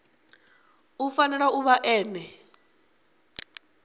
u fanela u vha ene